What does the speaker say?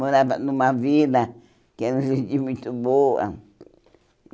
Morava numa vila que era gente muito boa.